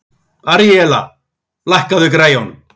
Aríella, lækkaðu í græjunum.